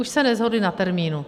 Už se neshodli na termínu.